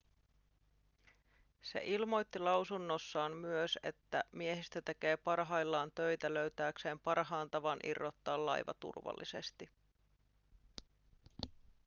se ilmoitti lausunnossaan myös että miehistö tekee parhaillaan töitä löytääkseen parhaan tavan irrottaa laiva turvallisesti